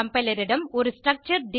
compiler இடம் ஒரு structure